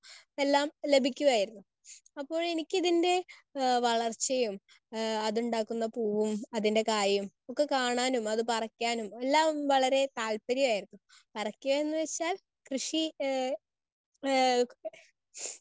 Speaker 1 എല്ലാ ലഭിക്കുമായിരുന്നു. അപ്പോൾ എനിക്കിതിൻറെ ആഹ് വളർച്ചയും ആഹ് അതുണ്ടാക്കുന്ന പൂവും അതിൻറെ കായും ഒക്കെ കാണാനും അത് പറിക്കാനും എല്ലാം വളരെ താല്പര്യായിരുന്നു. പറിക്കുക എന്നുവെച്ചാൽ കൃഷി ഏഹ് ഏഹ്